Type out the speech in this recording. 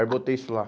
Aí botei isso lá.